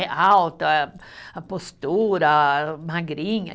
É alta, a postura, magrinha.